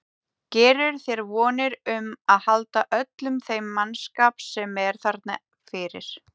Gerirðu þér vonir um að halda öllum þeim mannskap sem er þarna fyrir?